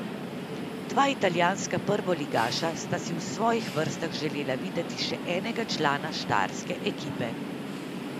Dva italijanska prvoligaša sta si v svojih vrstah želela videti še enega člana štajerske ekipe.